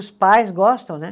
Os pais gostam, né?